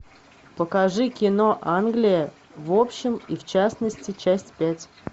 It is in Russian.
покажи кино англия в общем и в частности часть пять